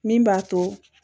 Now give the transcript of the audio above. Min b'a to